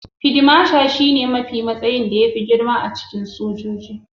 Fid masha shi ne matsayin da fi girma a cikin sojoji